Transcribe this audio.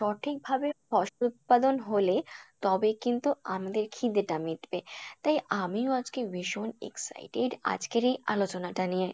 সঠিক ভাবে ফসল উৎপাদন হলে তবে কিন্তু আমাদের খিদে টা মিটবে, তাই আমিও আজকে ভীষণ excited আজকের এই আলোচনা টা নিয়ে।